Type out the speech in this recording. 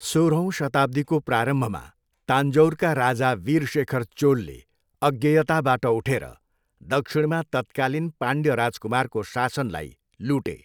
सोह्रौँ शताब्दीको प्रारम्भमा तान्जोरका राजा वीरशेखर चोलले अज्ञेयताबाट उठेर दक्षिणमा तत्कालीन पाण्ड्य राजकुमारको शासनलाई लुटे।